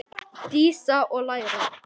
Dísa: Og læra.